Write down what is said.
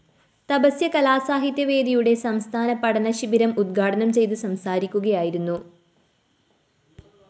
തപസ്യ കലാസാഹിത്യ വേദിയുടെ സംസ്ഥാന പഠനശിബിരം ഉദ്ഘാടനം ചെയ്ത് സംസാരിക്കുകയായിരുന്നു